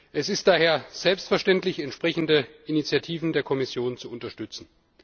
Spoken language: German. Es ist daher selbstverständlich, entsprechende Initiativen der Kommission zu unterstützen.